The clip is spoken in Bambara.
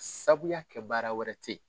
Sabu y'a kɛ baara wɛrɛ te ye.